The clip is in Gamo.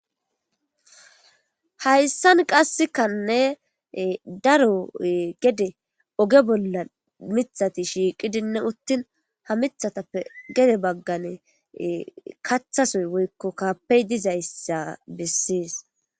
Hayssan qassikkanne ee daro gedde ee ogge bollan miththati shiqqi uttin ha miththatappe gedde baggani kaththa sooyi woyikko kappeyi dizayissi besses.